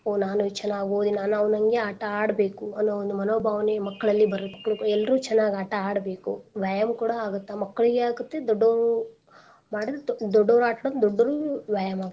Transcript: ಓ ನಾನು ಚನಾಗ್ ಓದಿ ನಾನು ಅವ್ನಹಂಗೆ ಆಟಾ ಆಡ್ಬೇಕು ಅನ್ನೋ ಒಂದ್ ಮನೋಭಾವನೆ ಮಕ್ಕಳಲ್ಲಿ ಬರ್ಬೇಕು ಎಲ್ರೂ ಚನಾಗ್ ಆಟಾ ಆಡ್ಬೇಕು, ವ್ಯಾಯಾಮ್ ಕೂಡಾ ಆಗುತ್ತ ಮಕ್ಳಿಗ್ ಆಗುತ್ತ ದೊಡ್ಡೋ~ ದೊಡ್ಡೊರ್ ಆಟಾ ದೊಡ್ಡೊರ್ಗೂ ವ್ಯಾಯಾಮ್ ಆಗತ್ತೆ.